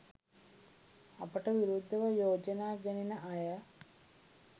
අපට විරුද්ධව යෝජනා ගෙනෙන අය